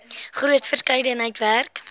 groot verskeidenheid werk